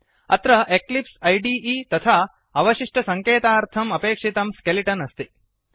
अत्र Eclipse IDE तथा अवशिष्टसङ्केतार्थम् अपेक्षितं स्केलिटन् अस्ति